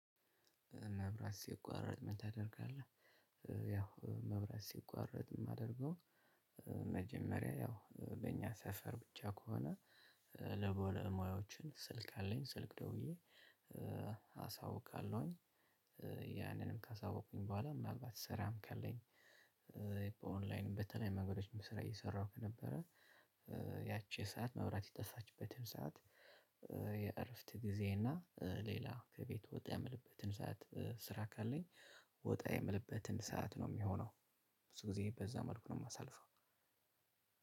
መብራት ሲቋረጥ ምን ታደርጋለህ? ያው መብራት ሲቋረጥ የማደርገው መጀመሪያ ያው በእኛ ሰፈር ብቻ ከሆነ ለ ባለሙያዎች ስልክ አለኝ ስልክ ደውዬ አሳውቃለሁኝ። ያንንም ካሳወቁኝ በኋላ ምናልባት ስራ ካለኝ። በኦንላይን በተለያዩ መንገዶች ስራ እየሰራሁ ከነበረ። ያቺ ሰዓት መብራት የጠፋችበትን ሰዓት የእረፍት ጊዜ እና ሌላ ከቤት ወጣ የምልበትን ሰዓት ስራ ካለኝ ወጣ የምልበትን ሰዓት ነው የሚሆነው። ብዙ ጊዜ በዛ መልኩ ነው የማሳልፈው።